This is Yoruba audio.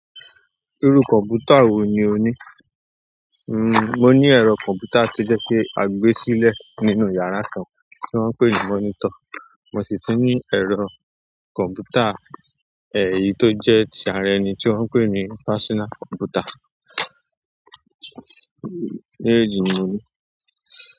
Irú kọ̀mpútà wo ni o ní? Mmm, mo ní ẹ̀rọ kọ̀mpútà tó jẹ́ pé a gbé sílẹ̀ nínú yàrá kan tí wọ́n ń pè ní monitor, mo sì tún ní ẹ̀rọ kọ̀mpútà, ẹyi tó jẹ́ ti ara ẹni tí wọ́n ń pè ní personal computer. Méjejì ni mòní.